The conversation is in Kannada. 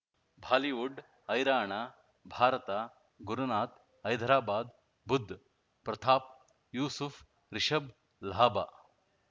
ಬಾಲಿವುಡ್ ಹೈರಾಣ ಭಾರತ ಗುರುನಾಥ ಹೈದರಾಬಾದ್ ಬುಧ್ ಪ್ರತಾಪ್ ಯೂಸುಫ್ ರಿಷಬ್ ಲಾಭ